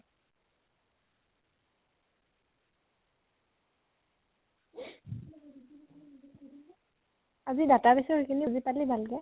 আজি database ৰ সেইখিনি বুজি প্লি ভাল কে?